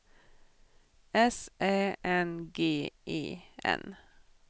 S Ä N G E N